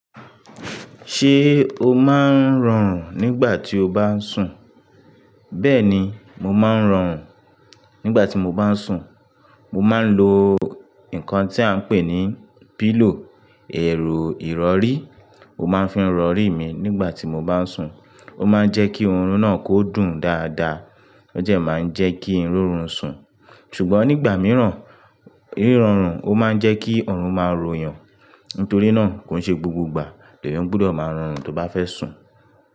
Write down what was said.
Ṣé o máa ń rọrùn nígbà tí o bá ń sùn? Bẹ́ẹ̀ni, mo máa ń rọrùn nígbà tí mo bá ń sùn. Mo máa ń lo nǹkan tí à ń pè ní pillow, eero ìrọrí. Mo máa ń fi rọrí mi nígbà tí mo bá ń sùn. Ó máa ń jẹ́ kí òórùn náà kó dùn dáadáa. Ó jẹ́ máa ń jẹ́ kí n rorun sùn. Ṣùgbọ́n nígbà mìíràn, rírọrùn ó máa ń jẹ́ kí òórùn máa ròyàn. Nítorí náà, kò n ṣe gbogbo ìgbà lèèyàn gbọ́dọ̀ máa rọrùn tó bá fẹ́ sùn.